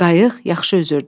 Qayıq yaxşı üzürdü.